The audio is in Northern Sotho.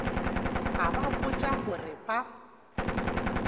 a ba botša gore ba